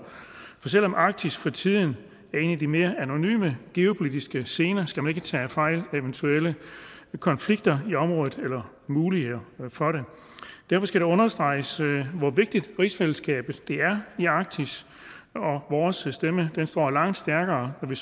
for selv om arktis for tiden er en af de mere anonyme geopolitiske scener skal man ikke tage fejl af eventuelle konflikter i området eller mulighederne for det derfor skal det understreges hvor vigtigt rigsfællesskabet er i arktis og vores stemme står langt stærkere når vi